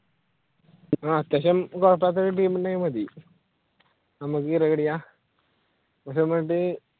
അത്യാവിശ്യം കുഴപ്പമില്ലാത്ത team ഉണ്ടായ മതി